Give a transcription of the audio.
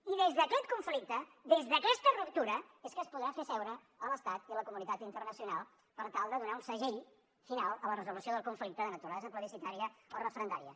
i des d’aquest conflicte des d’aquesta ruptura és que es podrà fer seure l’estat i la comunitat internacional per tal de donar un segell final a la resolució del conflicte de naturalesa plebiscitària o referendària